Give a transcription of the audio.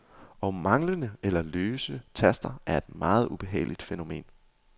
Og manglende eller løse taster er et meget ubehageligt fænomen.